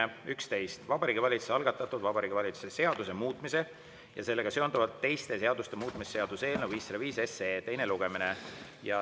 on Vabariigi Valitsuse algatatud Vabariigi Valitsuse seaduse muutmise ja sellega seonduvalt teiste seaduste muutmise seaduse eelnõu 505 teine lugemine.